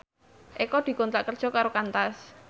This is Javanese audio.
Eko dikontrak kerja karo Qantas